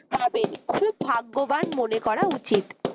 পাবেন খুব ভাগ্যবান মনে করা উচিত